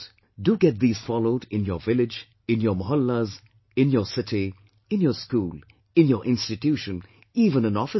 Do get these followed in your village, in your mohallas, in your city, in your school, in your institution, even in offices